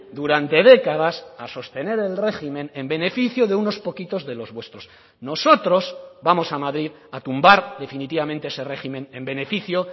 durante décadas a sostener el régimen en beneficio de unos poquitos de los vuestros nosotros vamos a madrid a tumbar definitivamente ese régimen en beneficio